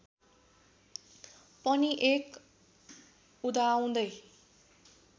पनि एक उदाउँदै